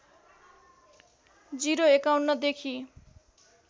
०५१ देखि